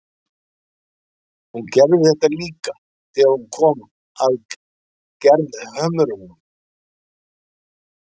Hún gerði þetta líka þegar hún kom að Gerðhömrum.